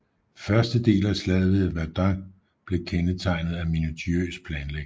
Første del af Slaget ved Verdun blev kendetegnet af minutiøs planlægning